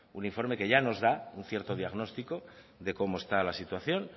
un informe que ya nos da un cierto diagnóstico de cómo estaba la situación